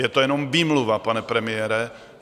Je to jenom výmluva, pane premiére.